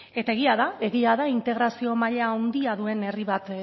eta egia da egia da integrazio maila handia duen herri bat